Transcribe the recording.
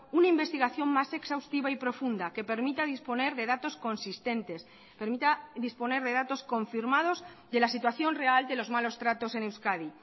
una investigación más exhaustiva y profunda que permita disponer de datos consistentes permita disponer de datos confirmados de la situación real de los malos tratos en euskadi